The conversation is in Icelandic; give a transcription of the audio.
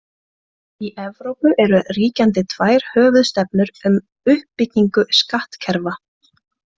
Í Evrópu eru ríkjandi tvær höfuðstefnur um uppbyggingu skattkerfa.